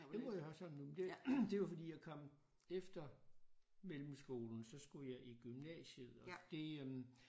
Jeg bor i Hørsholm nu det var fordi jeg kom efter mellemskolen så skulle jeg i gymnasiet og det øh